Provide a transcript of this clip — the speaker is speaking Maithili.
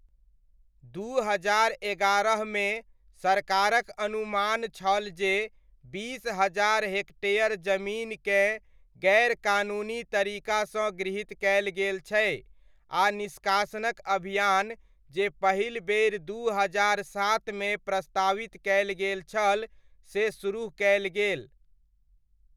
दू हजार एगारहमे सरकारक अनुमान छल जे बीस हजार हेक्टेयर जमीनकेँ गैरकानूनी तरीकासँ गृहीत कयल गेल छै आ निष्कासनक अभियान जे पहिल बेरि दू हजार सातमे प्रस्तावित कयल गेल छल से सुरुह कयल गेल।